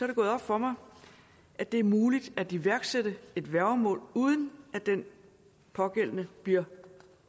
det gået op for mig at det er muligt at iværksætte et værgemål uden at den pågældende bliver